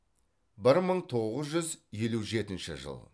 бір мың тоғыз жүз елу жетінші жыл